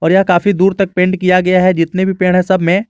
और यह काफी दूर तक पेंट किया गया है जितने भी पेड़ है सब में।